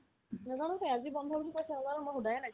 নেজানোতোয়ে আজি বন্ধ বুলি কৈছে আৰু আৰু মই সুধায়ে নাই